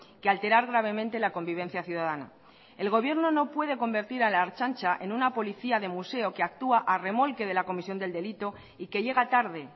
que alterar gravemente la convivencia ciudadana el gobierno no puede convertir a la ertzaintza en una policía de museo que actúa a remolque de la comisión del delito y que llega tarde